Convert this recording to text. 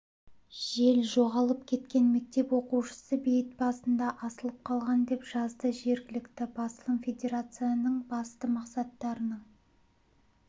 жел жоғалып кеткен мектеп оқушысы бейіт басында асылып қалған деп жазады жергілікті басылым федерацияның басты мақсаттарының